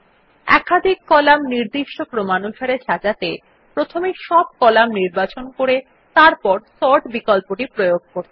একাধিক কলাম নির্দিষ্ট ক্রমানুসারে সাজাতে প্রথমে সব কলাম নির্বাচন করে তারপর সর্ট বিকল্পটি প্রয়োগ করতে হবে